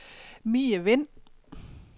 Mie Vind